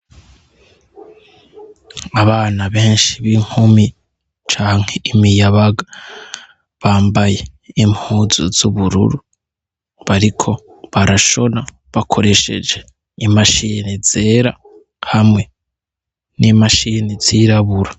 Abana benshi b'inkumi canke imiyabaga bambaye impuzu z’ubururu bariko barashona bakoresheje imashini zera hamwe n’imashini zirabura.